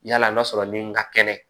Yala n'a sɔrɔ ni n ka kɛnɛ